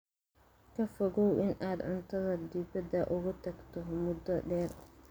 Ka fogow in aad cuntada dibadda uga tagto muddo dheer.